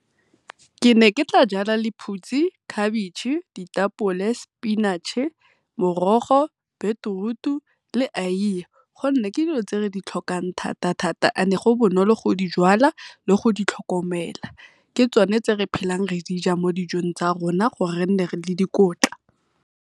Ke ne ke tla jala lephutshi, cabbage, ditapole, spinach-e, morogo, beterutu le aiye gonne ke dilo tse re ditlhokang thata-thata go bonolo go di jalwa le go di tlhokomela ke tsone tse re phelang re di ja mo dijong tsa rona gore re nne re le dikotla.